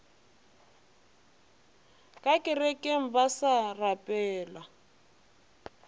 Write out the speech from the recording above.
ka kerekeng ba sa rapela